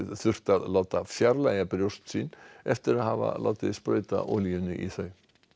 þurft að láta fjarlægja brjóst sín eftir að hafa látið sprauta olíunni í þau